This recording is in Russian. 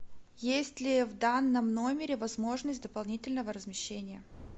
есть ли в данном номере возможность дополнительного размещения